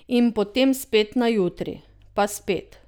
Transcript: In potem spet na jutri, pa spet.